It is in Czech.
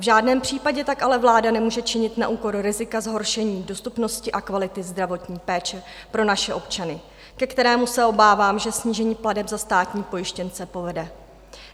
V žádném případě tak ale vláda nemůže činit na úkor rizika zhoršení dostupnosti a kvality zdravotní péče pro naše občany, ke kterému, se obávám, že snížení plateb za státní pojištěnce povede.